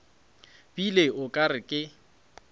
bile o ka re ke